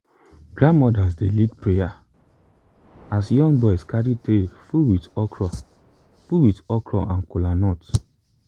grandmothers dey lead prayer as young boys carry tray full with okra full with okra and kolanut.